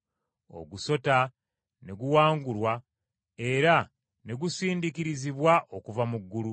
Ogusota ne guwangulwa era ne gusindiikirizibwa okuva mu ggulu.